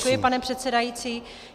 Děkuji, pane předsedající.